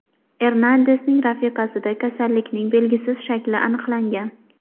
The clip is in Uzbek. Ernandesning rafiqasida kasallikning belgisiz shakli aniqlangan.